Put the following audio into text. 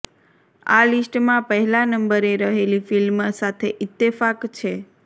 આ લિસ્ટમાં પહેલા નંબરે રહેલી ફિલ્મ સાથે ઈત્તેફાક છે